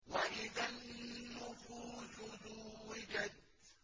وَإِذَا النُّفُوسُ زُوِّجَتْ